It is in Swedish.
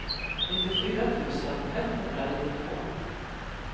nittiofyra tusen etthundranittiotvå